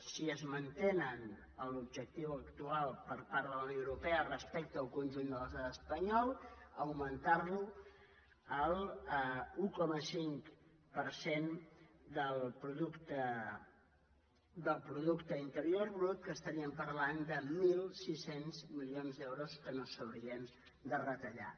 si es manté l’objectiu actual per part de la unió europea respecte al conjunt de l’estat espanyol augmentar lo a l’un coma cinc per cent del producte interior brut que estaríem parlant de mil sis cents milions d’euros que no s’haurien de retallar